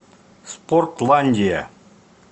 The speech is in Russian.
спортландия